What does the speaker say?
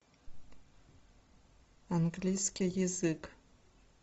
английский язык